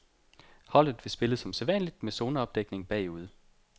Holdet vil spille som sædvanligt med zoneopdækning bagude.